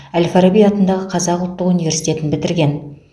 әл фараби атындағы қазақ ұлттық университетін бітірген